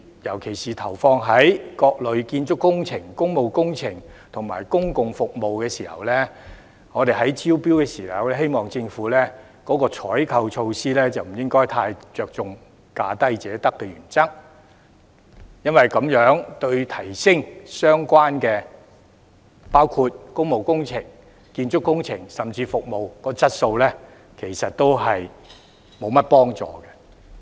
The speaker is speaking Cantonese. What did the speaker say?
尤其是就各類建築工程、工務工程及公共服務進行招標時，希望政府的採購措施不應該太着重"價低者得"的原則，因為這樣對於提升相關工務工程、建築工程，甚至服務的質素，沒有多大幫助。